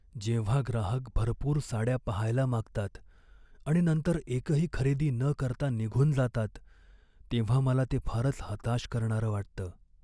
जेव्हा ग्राहक भरपूर साड्या पाहायला मागतात आणि नंतर एकही खरेदी न करता निघून जातात तेव्हा मला ते फारच हताश करणारं वाटतं.